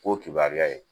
K'o kibaruya ye